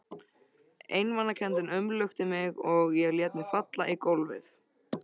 Einmanakenndin umlukti mig og ég lét mig falla í gólfið.